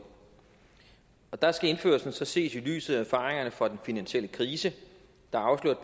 der skal indførelsen så ses i lyset af erfaringerne fra den finansielle krise der afslørede